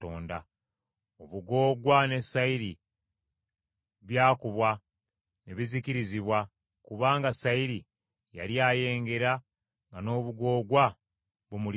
(Obugoogwa ne sayiri byakubwa ne bizikirizibwa, kubanga sayiri yali ayengera nga n’obugoogwa bumulisizza.